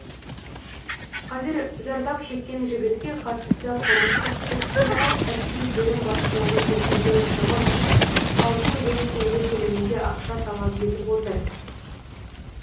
қазір зардап шеккен жігітке қатысты қылмыстық іс қозғалып әскери бөлім басшылығы келтірген шығын үшін алты миллион теңге көлемінде ақша талап етіп отыр